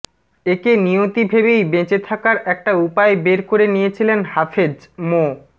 একে নিয়তি ভেবেই বেঁচে থাকার একটা উপায় বের করে নিয়েছিলেন হাফেজ মো